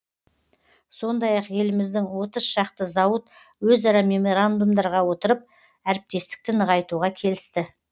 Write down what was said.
сондай ақ еліміздің отыз шақты зауыт өзара меморандумдарға отырып әріптестікті нығайтуға келісті